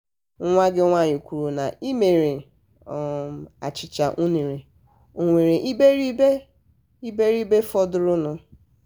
nwa gị nwaanyị kwuru na ị mere um achịcha unere o nwere iberi iberi fọdụrụ nụ?